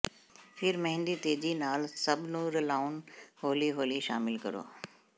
ਫਿਰ ਮਹਿੰਦੀ ਤੇਜ਼ੀ ਨਾਲ ਸਭ ਨੂੰ ਰਲਾਉਣ ਹੌਲੀ ਹੌਲੀ ਸ਼ਾਮਿਲ ਕਰੋ